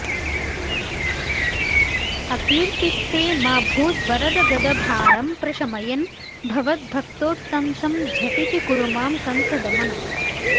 अकीर्तिस्ते मा भूद्वरद गदभारं प्रशमयन् भवद्भक्तोत्तंसं झटिति कुरु मां कंसदमन